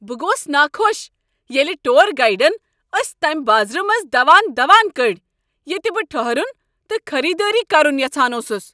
بہٕ گوس ناخۄش ییٚلہ ٹُور گایڈن أسۍ تمہ بازرٕ منٛزٕ دوان دوان کٔڑۍ ییٚتہ بہٕ ٹھٔہرُن تہٕ خریٖدٲری کرُن یژھان اوسُس۔